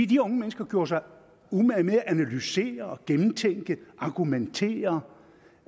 de unge mennesker gjorde sig umage med at analysere og gennemtænke og argumentere